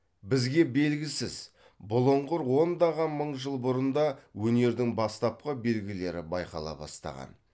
бізге белгісіз бұлыңғыр ондаған мың жыл бұрын да өнердің бастапқы белгілері байқала бастаған